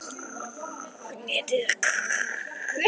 Benni settist á rúmið sitt og starði niður á gólfið.